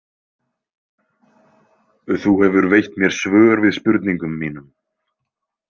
Þú hefur veitt mér svör við spurningum mínum.